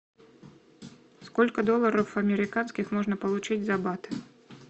сколько долларов американских можно получить за бат